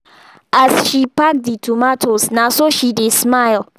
as she pack the tomatoes na so she dey smile